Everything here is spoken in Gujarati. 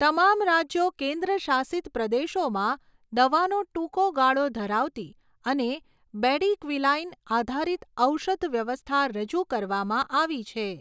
તમામ રાજ્યો કેન્દ્રશાસિત પ્રદેશોમાં દવાનો ટૂંકો ગાળો ધરાવતી અને બેડિક્વિલાઇન આધારિત ઔષધ વ્યવસ્થા રજૂ કરવામાં આવી છે.